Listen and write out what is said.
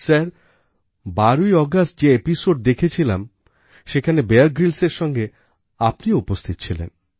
sir ১২ই August যে episode দেখেছিলাম সেখানে বিয়ার Gryllsএর সঙ্গে আপনিও উপস্থিত ছিলেন